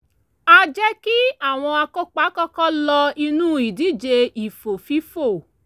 a jẹ́ kí àwọn akópa kọ́kọ́ lọ inú ìdíje ìfò-fífò